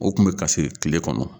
O kun bɛ kasi kile kɔnɔ.